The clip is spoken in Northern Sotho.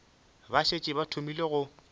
ba šetše ba thomile go